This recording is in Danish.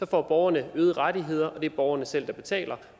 får borgerne øgede rettigheder og det er borgerne selv der betaler